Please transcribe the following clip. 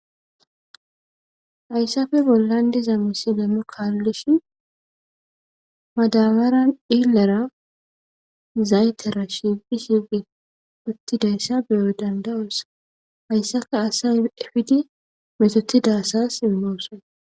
Hayssappe bollan diza misile nu kalishin madabaran dhilera zaytera shiiqidii shiqi shiqi uuttidayssa beyo dandayos hayssappe asay epidi mettittida asas imossonna